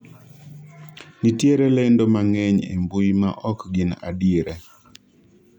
nitiere lendo mang'eny e mbui ma ok gin adieri